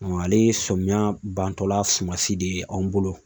ale ye samiyɛ bantɔla sumasi de ye anw bolo